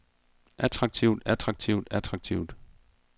attraktivt attraktivt attraktivt